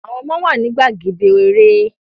Àwọn ọmọ wa ni gbàgede eré